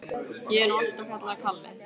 Ég er nú alltaf kallaður Kalli.